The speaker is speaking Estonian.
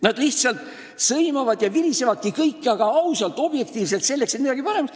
Nad kõik sõimavad ja virisevadki, aga ausalt ja objektiivselt, selleks et midagi paraneks.